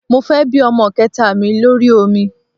Mo fẹ́ bí ọmọ kẹta mi lórí omi